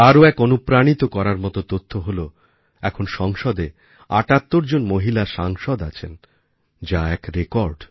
আরও এক অনুপ্রাণিত করার মত তথ্য হল এখন সংসদে ৭৮ জন মহিলা সাংসদ আছেন যা এক রেকর্ড